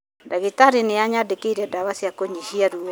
Ndagĩtarĩ nĩanyandĩkĩire ndawa cia kũnyihia ruo